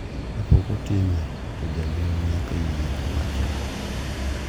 Kapok otime to janyuol nyaka yie gi wachno.